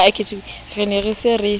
re ne re se re